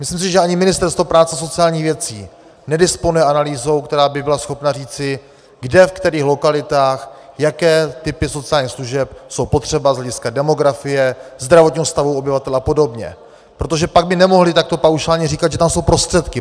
Myslím si, že ani Ministerstvo práce a sociálních věcí nedisponuje analýzou, která by byla schopna říci, kde, ve kterých lokalitách jaké typy sociálních služeb jsou potřebné z hlediska demografie, zdravotního stavu obyvatel a podobně, protože pak by nemohli takto paušálně říkat, že tam jsou prostředky.